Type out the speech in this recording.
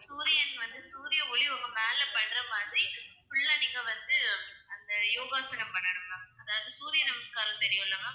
சூரியன் வந்து சூரிய ஒளி வந்து உங்க மேல படுற மாதிரி full ஆ நீங்க வந்து அந்த யோகாசனம் பண்ணனும் ma'am அதாவது சூரிய நமஸ்காரம் தெரியும்ல ma'am